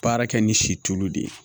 Baara kɛ ni si tulu de ye